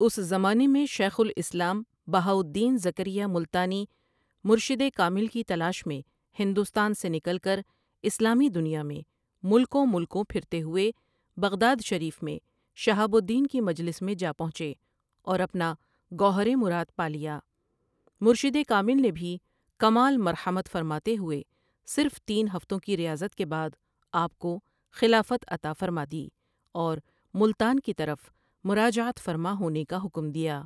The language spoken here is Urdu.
اُس زمانے میں شیخ الاِسلام بہاء الدین زکریا ملتانی مرشدِ کامل کی تلاش میں ہندوستان سے نکل کر اِسلامی دُنیا میں ملکوں ملکوں پھرتے ہوئے بغداد شریف میں شہاب الدین کی مجلس میں جا پہنچے اور اپنا گوہرِ مراد پا لیا مرشدِ کامل نے بھی کمال مرحمت فرماتے ہوئے صرف تین ہفتوں کی ریاضت کے بعد آپ کو خلافت عطا فرما دی اور ملتان کی طرف مراجعت فرما ہونے کا حکم دیا ۔